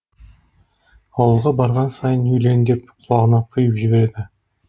ауылға барған сайын үйлен деп құлағына құйып жібереді